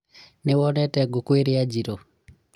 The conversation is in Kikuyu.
nĩwonete ngũkũ iria njirũ?